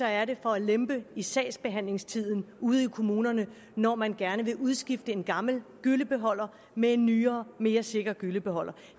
er det for at lempe i sagsbehandlingstiden ude i kommunerne når man gerne vil udskifte en gammel gyllebeholder med en nyere og mere sikker gyllebeholder